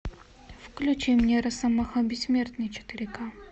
включи мне росомаха бессмертный четыре к